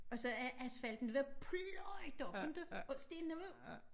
Og så er asfalten været pløjet op inte og stenene var